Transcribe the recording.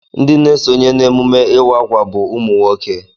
Ndị na-esonye n'emume ịwa akwa bụ ụmụnwoke